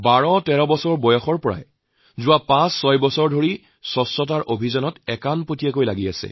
১২১৩ বছৰ বয়সৰ পৰা অৰ্থাৎ বিগত ৫৬ বছৰে বিলালে স্বচ্ছতাক লৈ কাম কৰি আহিছে